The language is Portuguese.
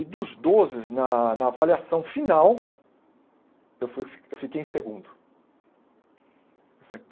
E dos doze, na na avaliação final, eu fui eu fiquei em segundo.